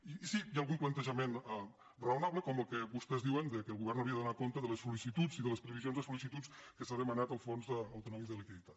i sí hi ha algun plantejament raonable com el que vostès diuen que el govern hauria de donar compte de les sol·licituds i de les previsions de sols’han demanat al fons autonòmic de liquiditat